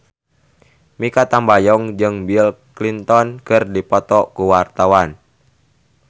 Mikha Tambayong jeung Bill Clinton keur dipoto ku wartawan